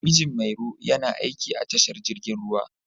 Mijin Mairo yana aiki a tashar jirgin ruwa.